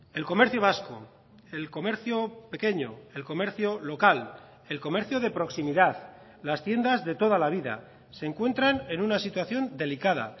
el comercio vasco el comercio pequeño el comercio local el comercio de proximidad las tiendas de toda la vida se encuentran en una situación delicada